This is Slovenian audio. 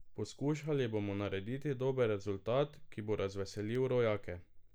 Poskušali bomo narediti dober rezultat, ki bo razveselil rojake.